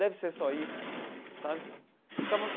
Deve ser só isso sabe ficava.